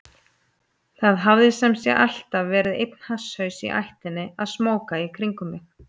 Það hafði sem sé alltaf verið einn hasshaus í ættinni að smóka í kringum mig.